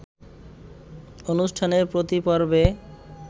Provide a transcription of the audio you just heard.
অনুষ্ঠানে প্রতি পর্বে